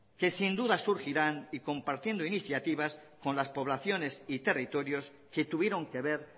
que sin duda surgirán y compartiendo iniciativas con las poblaciones y territorios que tuvieron que ver